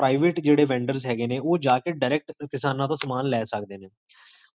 private ਜੇਹੜੇ vendors ਹੈਗੇ ਨੇ, ਓਹ ਜਾ ਕੇ direct, ਕਿਸਾਨਾ ਤੋ ਸਮਾਨ ਲੈ ਸਕਦੇ ਨੇ